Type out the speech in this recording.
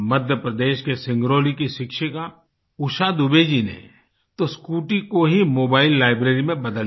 मध्य प्रदेश के सिंगरौली की शिक्षिका उषा दुबे जी ने तो स्कूटी को ही मोबाइल लाइब्रेरी में बदल दिया